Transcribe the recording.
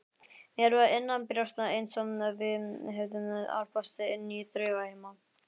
Mér var innanbrjósts einsog við hefðum álpast inní draugheima.